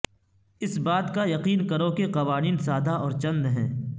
اس بات کا یقین کرو کہ قوانین سادہ اور چند ہیں